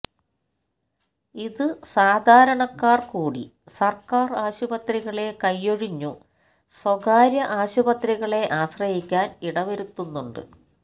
ഇത് സാധാരണക്കാർ കൂടി സർക്കാർ ആശുപത്രികളെ കൈയൊഴിഞ്ഞു സ്വകാര്യ ആശുപത്രികളെ ആശ്രയിക്കാൻ ഇടവരുത്തുന്നുണ്ട്